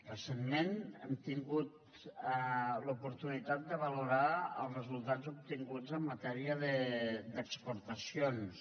recentment hem tingut l’oportunitat de valorar els resultats obtinguts en matèria d’exportacions